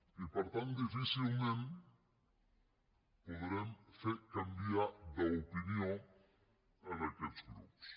i per tant difícilment podrem fer canviar d’opinió aquests grups